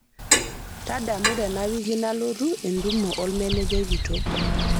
tadamu tenawiki nalotu entumo olmanejai kitok